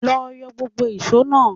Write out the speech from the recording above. Lọ yọ gbógbo ìṣó náà!